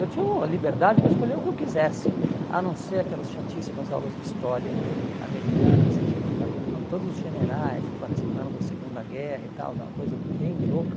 Eu tinha uma liberdade para escolher o que eu quisesse, a não ser aquelas chatíssimas aulas de história americana, que você tinha que ficar vendo o nome de todos os generais que participaram da Segunda Guerra e tal, que é uma coisa bem louca.